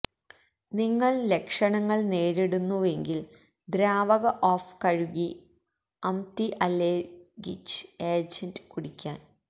നിങ്ങൾ ലക്ഷണങ്ങൾ നേരിടുന്നുവെങ്കിൽ ദ്രാവക ഓഫ് കഴുകി അംതിഅല്ലെര്ഗിച് ഏജന്റ് കുടിക്കാൻ